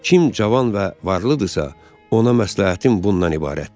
Kim cavan və varlıdırsa, ona məsləhətim bundan ibarətdir.